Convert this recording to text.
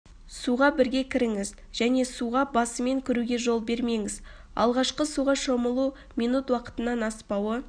суға бірге кіріңіз және суға басымен кіруге жол бермеңіз алғашқы суға шомылу минут уақытынан аспауы